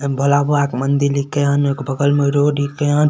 भोला बाबा के मंदिर हैकन एगो बगल में रोड हैकन।